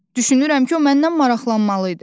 Düşünürəm ki, o məndən maraqlanmalı idi.